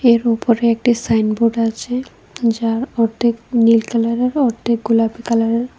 এর ওপরে একটি সাইনবোর্ড আছে যার অর্ধেক নীল কালারের অর্ধেক গোলাপী কালারের।